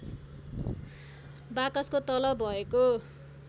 बाकसको तल भएको